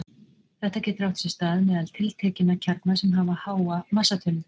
Þetta getur átt sér stað meðal tiltekinna kjarna sem hafa háa massatölu.